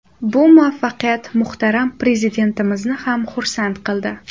Bu muvaffaqiyat muhtaram Prezidentimizni ham xursand qildi.